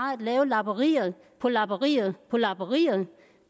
lave lapperi på lapperi på lapperi